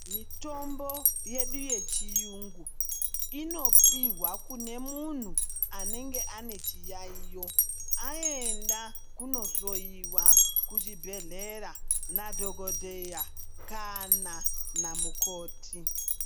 Mitombo yedu yechiyungu inopihwa kune munthu anenge ane chiyayeyo aenda kumohloyiwa kuchibhedhlera nadhokodheya kana namukoti.